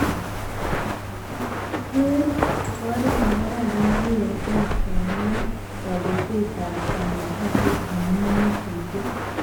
Ker ko oret nekararan VLE kemwoy kobetetab konetishet amu nyasutiet